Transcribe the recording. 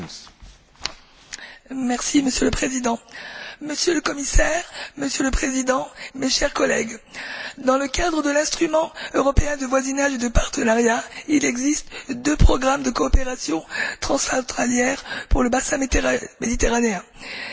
Monsieur le Président, Monsieur le Commissaire, Monsieur le Président, mes chers collègues, dans le cadre de l'instrument européen de voisinage et de partenariat deux programmes de coopération transfrontalière sont dédiés au bassin méditerranéen sur treize existants.